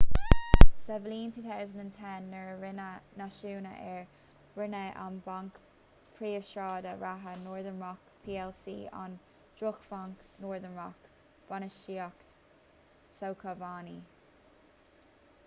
sa bhliain 2010 nuair a rinneadh náisiúnú air roinneadh an banc príomhshráide reatha northern rock plc ón ‘drochbhanc’ northern rock bainistíocht sócmhainní